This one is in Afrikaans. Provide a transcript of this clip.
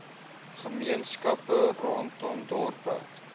gemeenskappe rondom dorpe